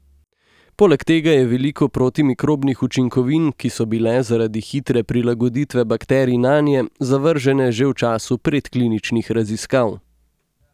Poleg tega je veliko protimikrobnih učinkovin, ki so bile zaradi hitre prilagoditve bakterij nanje zavržene že v času predkliničnih raziskav.